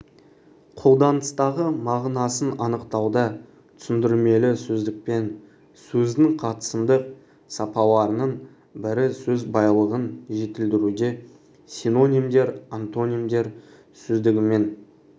қолданыстағы мағынасын анықтауда түсіндірмелі сөздікпен сөздің қатысымдық сапаларының бірі сөз байлығын жетілдіруде синонимдер антонимдер сөздігімен